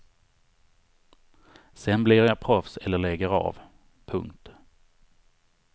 Sen blir jag proffs eller lägger av. punkt